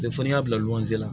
Cɛ fɔ n'a bila lɔgɔ zen na